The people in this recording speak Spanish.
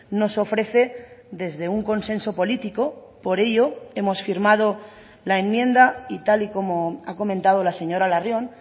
nos ofrece desde un consenso político por ello hemos firmado la enmienda y tal y como ha comentado la señora larrion